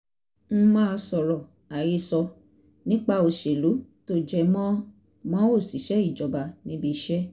n máa sọ̀rọ̀ àhesọ nípa òṣèlú tó jẹ mọ́ mọ́ òṣìṣẹ́ ìjọba níbi iṣẹ́